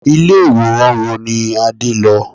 Ilé ìwòran wo ni Adé lọ?